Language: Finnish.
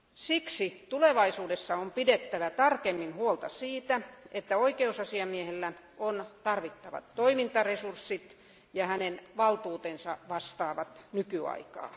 Siksi tulevaisuudessa on pidettävä tarkemmin huolta siitä, että oikeusasiamiehellä on tarvittavat toimintaresurssit ja hänen valtuutensa vastaavat nykyaikaa.